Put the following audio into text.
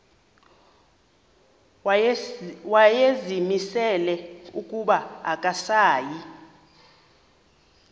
wayezimisele ukuba akasayi